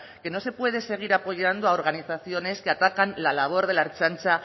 que no se puede seguir apoyando a organizaciones que atacan la labor de la ertzaintza